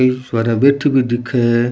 कई सवारियां बैठे भी दिखे है।